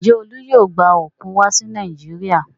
Ǹjẹ́ Olú yóò gba òkun wá sí Nàìjíríà?